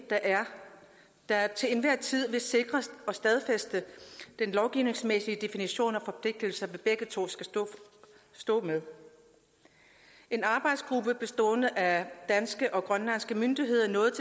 der til enhver tid vil sikre og stadfæste den lovgivningsmæssige definition af de forpligtelser vi begge to står med en arbejdsgruppe bestående af danske og grønlandske myndigheder nåede